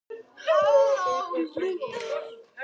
tekur þau yfir?